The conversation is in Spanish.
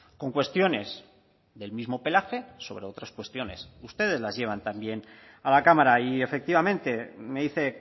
con cuestiones del mismo pelaje sobre otras cuestiones ustedes las llevan también a la cámara y efectivamente me dice